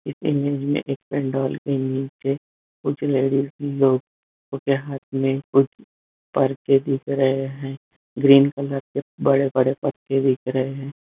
इस इमेज में एक पंडाल के नीचे कुछ लेडीजस लोग जिनके हाथ में कुछ दिख रहे है ग्रीन कलर के बड़े बड़े पत्ते दिख रहे है।